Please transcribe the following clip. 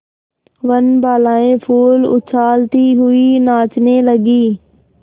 वनबालाएँ फूल उछालती हुई नाचने लगी